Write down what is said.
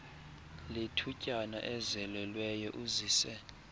lethutyana ezelelweyo uzise